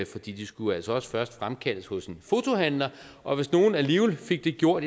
de skulle jo altså også først fremkaldes hos en fotohandler og hvis nogen alligevel fik det gjort